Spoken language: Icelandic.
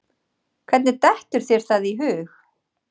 Hvernig dettur þér það í hug?